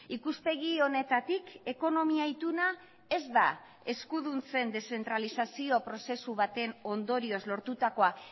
ikuspegi honetatik ekonomia ituna ez da eskuduntzen deszentralizazio prozesu baten ondorioz lortutakoa